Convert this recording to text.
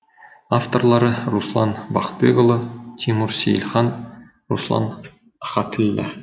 авторлары руслан бақытбекұлы тимур сейілхан руслан ахатіллә